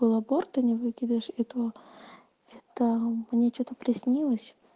был аборт а не выкидыш и то это мне что-то приснилось